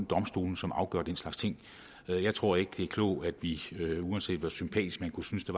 domstolene som afgør den slags ting jeg tror ikke det er klogt at vi uanset hvor sympatisk man kunne synes det